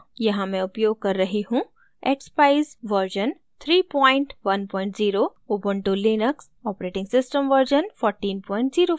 यहाँ मैं उपयोग कर रही हूँ